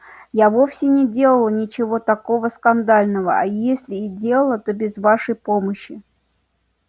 я вовсе не делала ничего такого скандального а если и делала то без вашей помощи